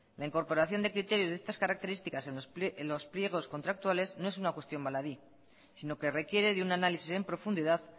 la incorporación de criterios de estas características en los pliegos contractuales no es una cuestión baladí sino que requiere de un análisis en profundidad